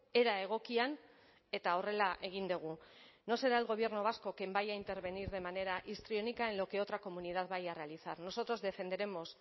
era egokian eta horrela egin dugu no será el gobierno vasco quien vaya a intervenir de manera histriónica en lo que otra comunidad vaya a realizar nosotros defenderemos